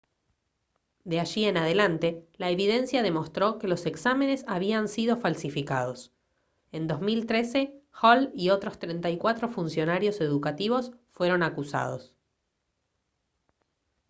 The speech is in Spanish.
de allí en adelante la evidencia demostró que los exámenes habían sido falsificados en 2013 hall y otros 34 funcionarios educativos fueron acusados